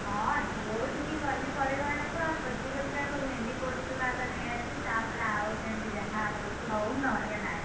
ହଁ ଯୋଉଠିକି ଗଲି ପରିବା ଆଣିବାକୁ ଆଗ ଖୋଜି ଖୋଜିକା ଆଗ ଭେଣ୍ଡି କୋଉଠି ଥିବ ଆଗ ନେଇଆସିବି, ତାପରେ ଆଉ ତେଣିକି ଯାହା ହଉଛି ହଉ ନହେଲେ ନାଇଁ।